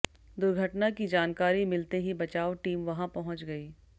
दुर्घटना की जानकारी मिलते ही बचाव टीम वहां पहुंच गई